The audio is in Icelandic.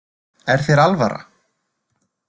Er þér alvara?